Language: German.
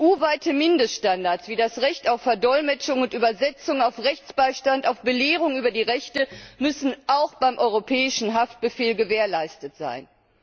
EU weite Mindeststandards wie das Recht auf Verdolmetschung und Übersetzung, auf Rechtsbeistand, auf Belehrung über die Rechte müssen auch beim Europäischen Haftbefehl gewährleistet sein.